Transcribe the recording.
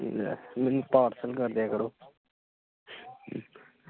ਲੈ ਮੈਨੂੰ parcel ਕਰਦਿਆਂ ਕਰੋ।